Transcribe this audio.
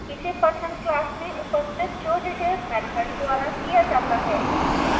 इसे person class में उपस्थित showdetails मैथड द्वारा किया जाता है